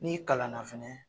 N'i kalan na fɛnɛ